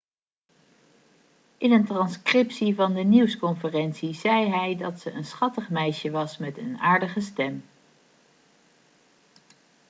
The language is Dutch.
in een transcriptie van de nieuwsconferentie zei hij dat ze een schattig meisje was met een aardige stem'